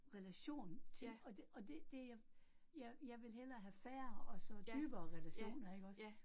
Relation til, og det og det det jeg jeg jeg vil hellere have færre og så dybere relationer ikke også